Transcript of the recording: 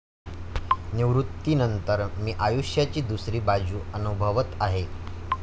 निवृत्तीनंतर मी आयुष्याची दुसरी बाजू अनुभवत आहे.